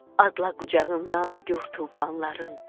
Adla qucağından gur tufanların.